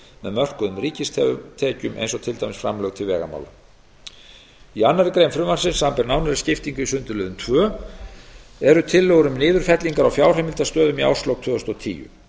með mörkuðum ríkistekjum eins og til dæmis framlög til vegamála í annarri grein frumvarpsins samanber nánari skiptingu í sundurliðun tveir eru tillögur um niðurfellingar á fjárheimildastöðum í árslok tvö þúsund og tíu